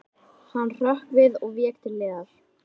Hann hrökk við og vék til hliðar.